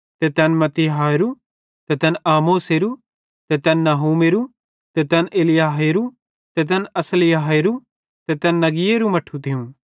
ते तैन मत्तित्याहेरू ते तैन आमोसेरो ते तैन नहूमेरू ते तैन असल्याहेरू ते तैन नग्‍गईएरू मट्ठू थियूं